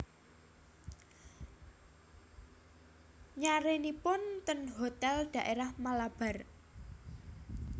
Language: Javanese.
Nyarenipun ten hotel daerah Malabar